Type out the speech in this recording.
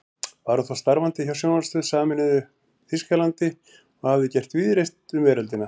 Var hún þá starfandi hjá sjónvarpsstöð í sameinuðu Þýskalandi og hafði gert víðreist um veröldina.